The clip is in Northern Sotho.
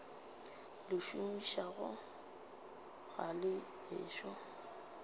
le šomišago ga le ešo